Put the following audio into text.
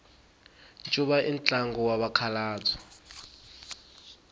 ncuva i ntlangu wa vakhalabya